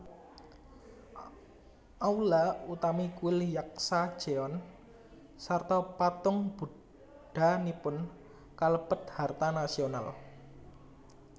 Aula utami kuil Yaksa jeon sarta patung Buddhanipun kalebet harta nasional